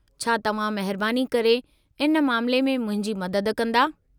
छा तव्हां महिरबानी करे इन मामिले में मुंहिंजी मददु कंदा?